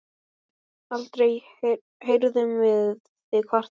Aldrei heyrðum við þig kvarta.